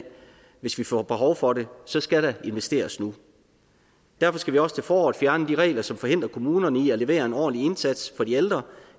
hvis vi får behov for det så skal der investeres nu derfor skal vi også til foråret fjerne de regler som forhindrer kommunerne i at levere en ordentlig indsats for de ældre